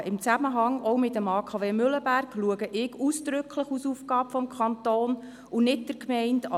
Sicherheitsfragen, auch in Zusammenhang mit dem AKW Mühleberg, erachte ich ausdrücklich als Aufgabe des Kantons und nicht der Gemeinde.